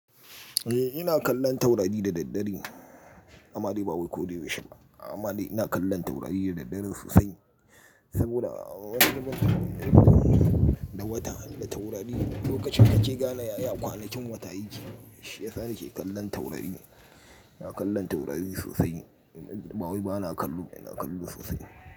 Eh ina kallon taurari da daddare. Amma dai ba wai ko da yaushe ba. Amma dai ina kallon taurari da daddare sosai. Saboda wani lokacin da wata da taurari lokacin nake gane yaya kwanakin wata yake, shi ya sa nake kallon taurari. Ina kallon taurari sosai. Yad-- ba wai ba na kallo, ina kallo sosai.